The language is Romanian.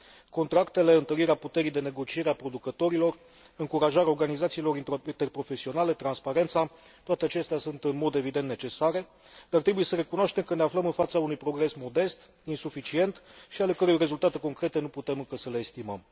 Contractele, întărirea puterii de negociere a producătorilor, încurajarea organizațiilor interprofesionale, transparența, toate acestea sunt, în mod evident, necesare, dar trebuie să recunoaștem că ne aflăm în fața unui progres modest, insuficient și ale cărui rezultate concrete nu putem încă să le estimăm.